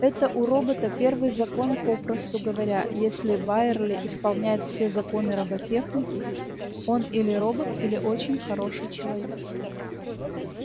это у робота первый закон попросту говоря если байерли исполняет все законы роботехники он или робот или очень хороший человек